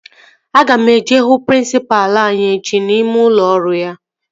Aga m eje hụ prịnsịpalụ anyị echi n'ime ụlọ ọrụ ya